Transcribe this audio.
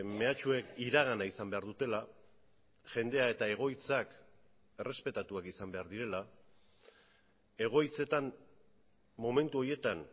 mehatxuek iragana izan behar dutela jendea eta egoitzak errespetatuak izan behar direla egoitzetan momentu horietan